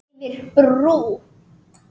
Yfir brú.